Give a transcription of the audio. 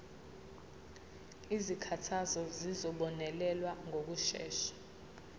izikhalazo zizobonelelwa ngokushesha